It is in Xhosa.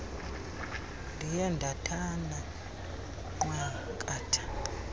ndiye ndathana nqwakatha